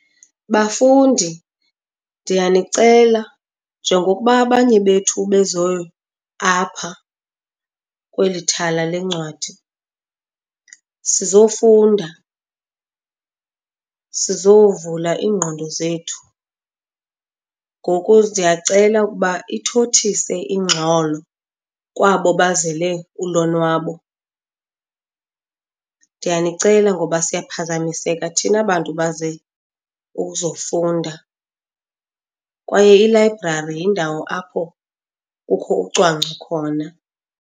Bafundi, ndiyanicela njengokuba abanye bethu beze apha kweli thala lencwadi sizofunda, sizovula iingqondo zethu, ngoku ndiyacela ukuba ithothise ingxolo kwabo bazele ulonwabo. Ndiyanicela ngoba siyaphazamiseka thina bantu baze ukuzofunda, kwaye ilayibrari yindawo apho kukho ucwangco khona.